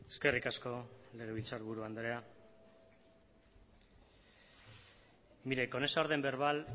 eskerrik asko legebiltzar buru andrea mire con esa orden verbal